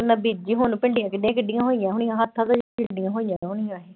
ਬੀਜੀ ਹੁਣ ਭਿੰਡੀਆਂ ਕਿੱਡੀਆਂ ਕਿੱਡੀਆਂ ਹੋਈਆਂ ਹੋਣੀਆਂ ਹੱਥਾਂ ਕੁ ਜਿੱਡੀਆਂ ਹੋਈਆਂ ਹੋਣੀਆਂ।